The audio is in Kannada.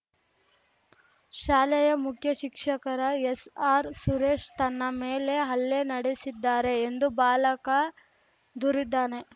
ಶಾಲೆಯ ಮುಖ್ಯಶಿಕ್ಷಕರ ಎಸ್‌ಆರ್‌ಸುರೇಶ್‌ ತನ್ನ ಮೇಲೆ ಹಲ್ಲೆ ನಡೆಸಿದ್ದಾರೆ ಎಂದು ಬಾಲಕ ದೂರಿದ್ದಾನೆ